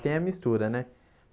Tem a mistura, né?